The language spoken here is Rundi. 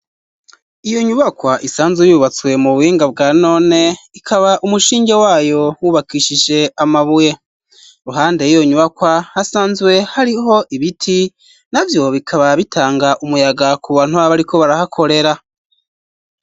Iyo nyubakwa isanzwe yubatswe mu buhinga bwa none, ikaba umushinge wayo wubakishije amabuye,i ruhande iyo nyubakwa hasanzwe hariho ibiti, navyo bikaba bitanga umuyaga ku bantu abo ariko barahakorera.